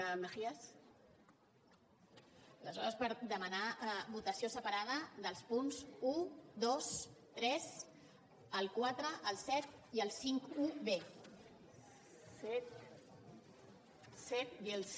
aleshores per demanar votació separada dels punts un dos tres el quatre el set i el cinquanta un